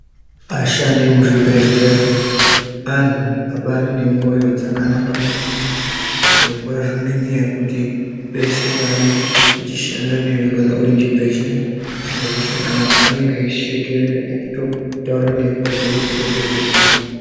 Ashandi emuzvibhedhleya antu abari nemwoyo dzakanaka maningi zviro kwazvo ngenyaya yekuti peshe paange eishanda newe Kana uri muchibhedhleya usikazwi zvakanaka anenga eishekerera eitotaura newe kuzwe kuti uri kuzwe zvakanaka.